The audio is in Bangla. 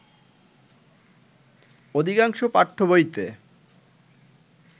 অধিকাংশ পাঠ্যবইতে